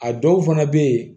A dɔw fana bɛ yen